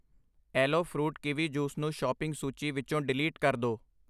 aloe fruit kiwi juice ਨੂੰ shopping ਸੂਚੀ ਵਿੱਚੋ ਡਿਲੀਟ ਕਰ ਦੋ I